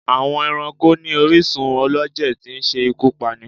Àwọn Ẹranko ní orísún ọlọjẹ tí ń ṣe ikú Pání